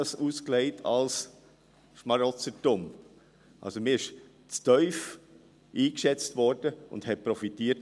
Man wurde also zu tief eingeschätzt und hat davon profitiert.